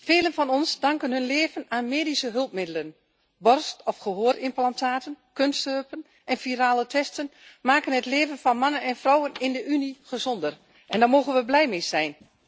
Velen van ons danken hun leven aan medische hulpmiddelen borst of gehoorimplantaten, kunstheupen en virale testen maken het leven van mannen en vrouwen in de Unie gezonder en daar mogen we blij mee zijn.